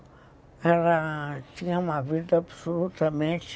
Ela tinha uma vida absolutamente...